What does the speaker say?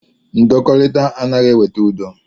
Ndọkọrita anaghị eweta udo.